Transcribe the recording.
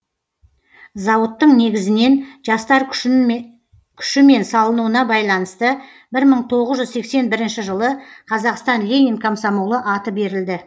ауыттың негізінен жастар күшімен салынуына байланысты бір мың тоғыз жүз сексен бірінші жылы қазақстан ленин комсомолы аты берілді